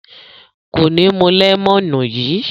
Kò ní mú lẹ́mọ́nù yìí.